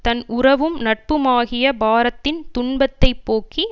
தன் உறவும் நட்புமாகிய பாரத்தின் துன்பத்தை போக்கி